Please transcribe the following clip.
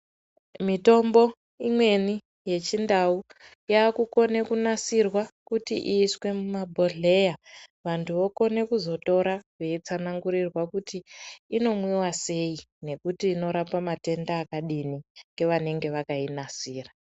Mitombo imweni yechindau yakukone kunasirwa kuti iiswe mumabhohleya vantu vokone kuzotora veitsanangurirwe kuti inomwiwa sei nekuti inorapa matenda akadini ngevanenge vakainasira.